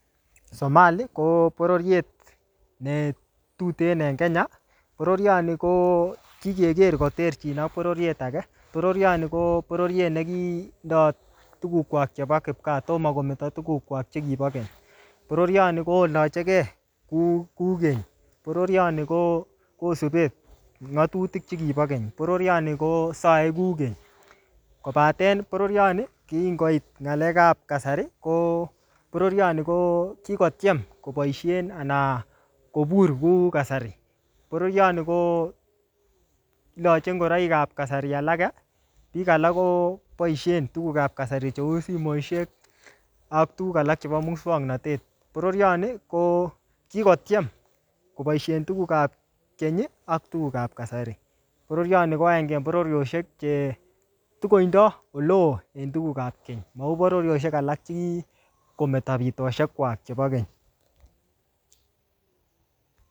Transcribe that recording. Somali ko bororiet ne tuten en kenya. Bororioni ko kikeker koterchin ak bororiet age. Bororioni ko bororiet ne kindoi tugukwak chebo kipkaa, tomo kometoo tugukwak chekibo keny. Bororioni kolacheke kuu-kuu keny. Bororioni ko-kosube ng'atutik chekibo keny. Bororioni kosae kuu keny. Kobaten boroironi, kingoit ng'alekap kasari, ko bororioni ko kikotoem koboisen anan kobur kou kasari. Bororioni ko lache ngoroik ap kasari alage. Biik alak koboisen tugukap kasari cheu simoshek ak tuguk alak chebo muswagnatet. Bororioni ko kikotiem koboisien tugukap keny, ak tugukap kasari. Bororioni ko agenge en bororioshiek che tikotindoi ole oo en tugukap keny. Mau bororisiek alak che kikometo bitosiek kwak chebo keny